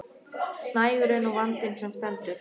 Nægur er nú vandinn sem stendur.